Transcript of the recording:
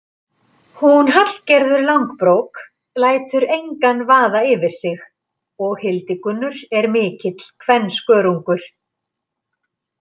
Hún Hallgerður langbrók lætur engan vaða yfir sig og Hildigunnur er mikill kvenskörungur.